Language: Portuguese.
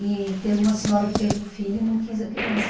E teve uma senhora que teve um filho e não quis a criança.